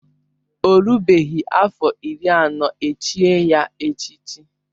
Ọ rubeghị afọ iri anọ echié ya echichi